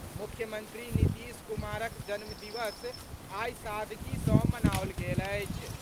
मुख्यमंत्री नीतीश कुमारक जन्मदिवस आई सादगी सॅ मनाओल गेल अछि।